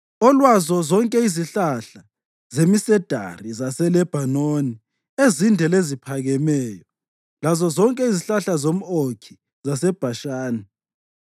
olwazo zonke izihlahla zemisedari zaseLebhanoni ezinde leziphakemeyo, lazozonke izihlahla zomʼOkhi zaseBhashani,